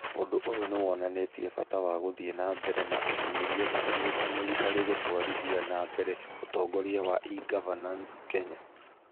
Ũndũ ũyũ nĩ wonanĩtie bata wa gũthiĩ na mbere na ũtuĩria na ũnyitanĩri harĩ gũtwarithia na mbere ũtongoria wa e-Governance Kenya.